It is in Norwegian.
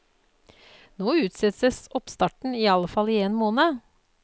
Nå utsettes oppstarten i alle fall i én måned.